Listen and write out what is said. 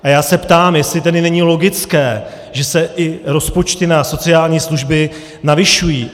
A já se ptám, jestli tedy není logické, že se i rozpočty na sociální služby navyšují.